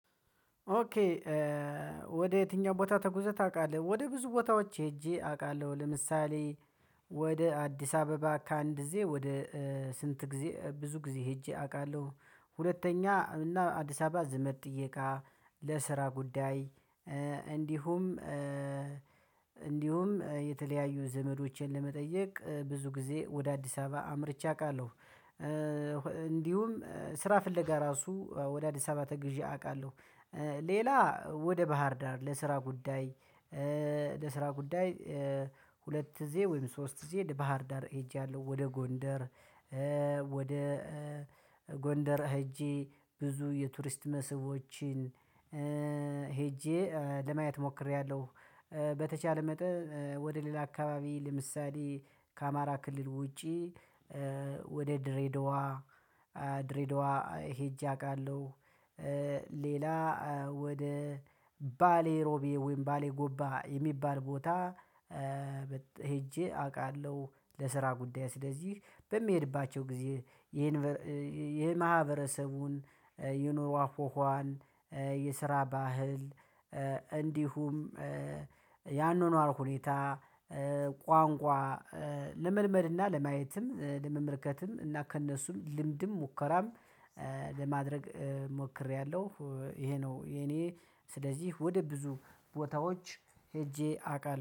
ኦኬ ወደ የትኛው ቦታ ተጉዘህ ታውቃለህ? ወደ ብዙ ቦታዎች ሄጄ አውቃለሁ። ለምሳሌ ወደ አዲስ አበባ ከአንድ ጊዜ ወደ ስንት ጊዜ ብዙ ጊዜ ሄጄ አውቃለሁ። ሁለተኛ እና አዲስ አበባ ዘመድ ጥየቃ ፥ለስራ ጉዳይ እንዲሁም የተለያዩ ዘመዶችን ለመጠየቅ ብዙ ጊዜ ወደ አዲስ አበባ አምርቼ አውቃለሁ። እንዲሁም ስራ ፍለጋ ራሱ ወደ አዲስ አበባ ተጉዤ አውቃለሁ። ሌላ ወደ ባህር ዳር ለስራ ጉዳይ ለስራ ጉዳይ ሁለት ጊዜ ወይም ሶስት ጊዜ ባህር ዳር ሄጃለሁ ወደ ጎንደር ወደ ጎንደር ሄጄ ብዙ የቱሪስት መስቦችን ሄጄ ለማየት ሞክሬያለሁ። በተቻለ መጠን ወደ ሌላ አካባቢ ለምሳሌ ከአማራ ክልል ውጪ ወደ ድሬድዋ ድሬድዋ ሄጄ አውቃለሁ፥ ሌላ ወደ ባሌ ሮቤ ወይም ባሌ ጎባ የሚባል ቦታ ሄጄ አውቃለሁ ለስራ ጉዳይ። ስለዚህ በሚሄድባቸው ጊዜ የማህበረሰቡን የኑሮ አውዃዃን የስራ ባህል እንዲሁም ያኗኗር ሁኔታ፥ ቋንቋ ለመልመድ እና ለማየትም ለመመልከትም እና ከእነሱም ልምድም ሙከራም ለማድረግ ሞክሬያለሁ ይሄ ነው የኔ ስለዚህ ወደ ብዙ ቦታዎች ሄጄ አውቃለሁ።